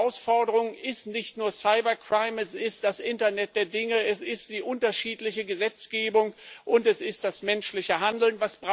Die Herausforderung ist nicht nur cyber crime es ist das Internet der Dinge, es ist die unterschiedliche Gesetzgebung und es ist das menschliche Handeln.